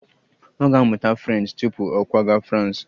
Ọ ga-amụta French tupu ọ kwaga Frans